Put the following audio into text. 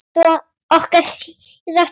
Þetta varð okkar síðasti fundur.